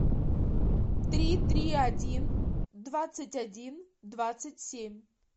три три один двадцать один двадцать семь